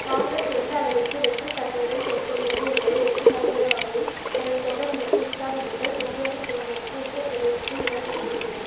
காங்கிரஸ் எந்த அளவிற்கு வெற்றுத்தன்மையுடன் செயல்படுகிறது என்பதை எடுத்துக்காட்டுகிற வகையில் தனது தொண்டர்களுக்கு உற்சாகமூட்ட சோனியாவின் புதல்வருக்கு உத்திர பிரதேசத்தில் இடம் கொடுத்திருக்கிறது